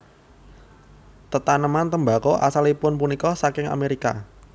Tetaneman tembako asalipun punika saking Amerika